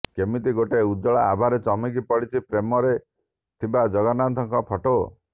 କେମିତି ଗୋଟେ ଉଜ୍ଜ୍ୱଳ ଆଭା ରେ ଚମକି ପଡୁଛି ଫ୍ରେମ ରେ ଥିବା ଜଗନ୍ନାଥ ଙ୍କ ଫୋଟ